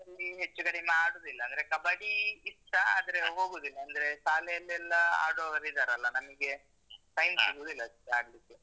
ಹೆಚ್ಚು ಕಡಿಮೆ ಆಡುದಿಲ್ಲ. ಅಂದ್ರೆ ಕಬಡ್ಡಿ ಇಷ್ಟ ಆದ್ರೆ ಹೋಗುದಿಲ್ಲ ಅಂದ್ರೆ ಶಾಲೆಯಲ್ಲೆಲ್ಲ ಆಡುವವರಿದ್ದಾರಲ್ಲ ನನ್ಗೆ time ಸಿಗುದಿಲ್ಲ.